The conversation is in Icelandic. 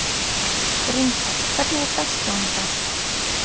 Grímkell, hvernig er dagskráin í dag?